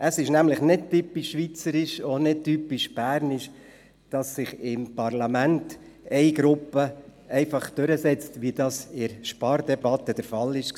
Es ist nämlich nicht typisch schweizerisch und auch nicht typisch bernisch, dass sich im Parlament eine Gruppe einfach durchsetzt, wie das in der Spardebatte der Fall war.